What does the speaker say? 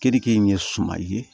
Keninke in ye suman ye